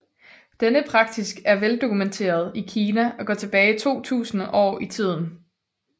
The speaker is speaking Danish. Denne praksis er veldokumenteret i Kina og går tilbage to tusinde år i tid